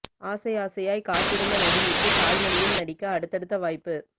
ஆசை ஆசையாய் காத்திருந்த நடிகைக்கு தாய் மொழியில் நடிக்க அடுத்தடுத்த வாய்ப்பு